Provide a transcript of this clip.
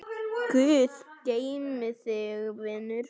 Guð geymi þig, vinur.